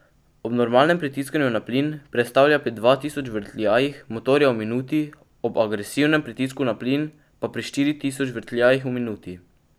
Ob normalnem pritiskanju na plin prestavlja pri dva tisoč vrtljajih motorja v minuti, ob agresivnem pritisku na plin pa pri štiri tisoč vrtljajih v minuti.